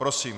Prosím.